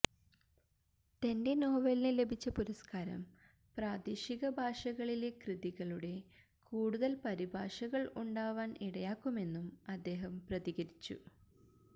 തന്റെ നോവലിന് ലഭിച്ച് പുരസ്കാരം പ്രാദേശിക ഭാഷകള്കളിലെ കൃതികളുടെ കൂടുതല് പരിഭാഷകള് ഉണ്ടാവാന് ഇടയാക്കുമെന്നും അദ്ദേഹം പ്രതികരിച്ചു